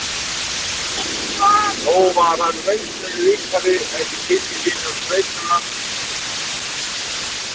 Nú var hann reynslunni ríkari eftir kynni sín af sveitum landsins